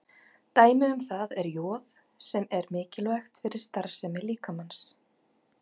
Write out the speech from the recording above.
Dæmi um það er joð sem er mikilvægt fyrir starfsemi líkamans.